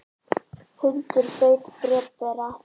Hundur beit bréfbera